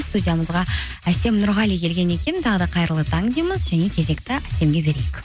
студиямызға әсем нұрғали келген екен тағы да қайырлы таң дейміз және кезекті әсемге берейік